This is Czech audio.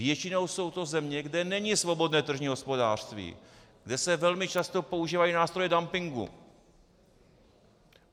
Většinou jsou to země, kde není svobodné tržní hospodářství, kde se velmi často používají nástroje dumpingu.